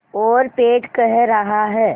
और पेट कह रहा है